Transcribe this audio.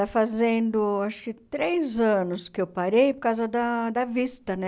Está fazendo, acho que três anos que eu parei, por causa da da vista, né?